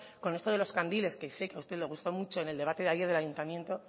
con esto de lo candiles que se que a usted le gusta mucho en el debate de ayer del ayuntamiento